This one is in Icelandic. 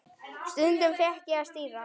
Stundum fékk ég að stýra.